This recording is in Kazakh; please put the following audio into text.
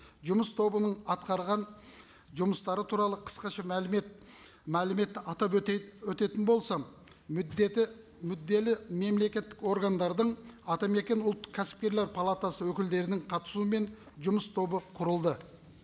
жұмыс тобының атқарған жұмыстары туралы қысқаша мәлімет мәліметті атап атап өтетін болсам мүдделі мемлекеттік органдардың атамекен ұлттық кәсіпкерлер палатасы өкілдерінің қатысуымен жұмыс тобы құрылды